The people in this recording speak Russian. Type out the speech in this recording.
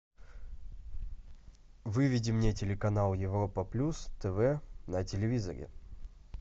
выведи мне телеканал европа плюс тв на телевизоре